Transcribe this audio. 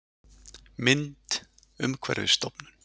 Mynd: Umhverfisstofnun